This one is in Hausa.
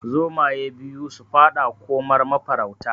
Zomaye biyu su faɗa komar mafarauta